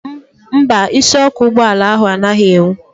Mba, isiọkụ ụgbọala ahụ anaghị enwu